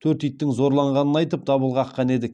төрт иттің зорланғанын айтып дабыл қаққан еді